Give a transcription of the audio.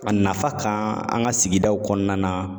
A nafa kan an ka sigidaw kɔnɔna na